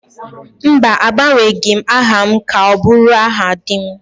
Mba, agbanwebeghị m aha m ka ọ bụrụ aha di m